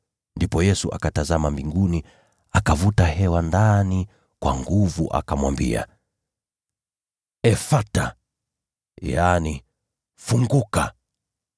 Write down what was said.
Ndipo Yesu akatazama mbinguni, akavuta hewa ndani kwa nguvu akamwambia, “Efatha!” (yaani, “Funguka!” )